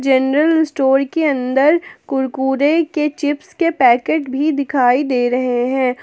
General store के अंदर कुरकुरे के चिप्स के पैकेट भी दिखाई दे रहे हैं।